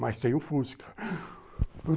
Mas tem um fusca.